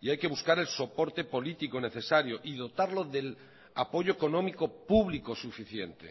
y hay que buscar el soporte político necesario y dotarlo del apoyo económico público suficiente